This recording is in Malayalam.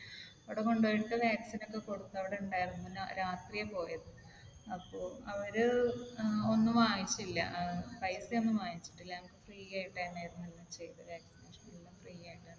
അവിടെ കൊണ്ട് പോയിട്ട് vaccine ഒക്കെ കൊടുത്തു. അവിടെ ഉണ്ടായിരുന്നു. പിന്നെ രാത്രിയാണ് പോയത്. അപ്പൊ അവർ ഒന്നും വാങ്ങിച്ചില്ല. പൈസ ഒന്നും വാങ്ങിച്ചിട്ടില്ല. ഞങ്ങൾക്ക് free ആയിട്ട് തന്നെയായിരുന്നു എല്ലാം ചെയ്തത്. vaccination എല്ലാം free ആയിട്ടാണ്.